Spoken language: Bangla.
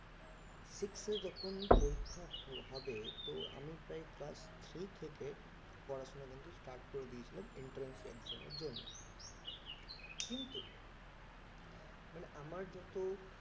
six এ যখন পরীক্ষা হবে তো আমি প্রায় class three থেকে পড়াশোনা কিন্তু start করে দিয়েছিলাম entrance exam এর জন্য কিন্তু মানে আমার যত